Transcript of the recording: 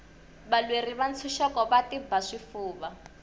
valweri va ntshuxeko va tiba swifuva